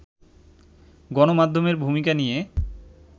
গণমাধ্যমের ভূমিকা নিয়ে